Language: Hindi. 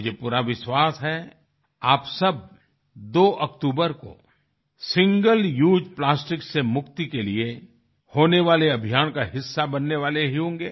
मुझे पूरा विश्वास है आप सब 2 अक्तूबर को सिंगल उसे प्लास्टिक से मुक्ति के लिए होने वाले अभियान का हिस्सा बनने वाले ही होंगे